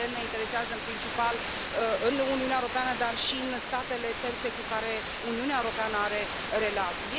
Evident, ne interesează, în principal, în Uniunea Europeană, dar și în statele terțe cu care Uniunea Europeană are relații.